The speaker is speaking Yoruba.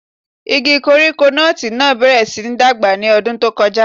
Igi koríko nọ́ọ̀tì náà bẹ̀rẹ̀ síi dàgbà ní ọdún tó kọjá.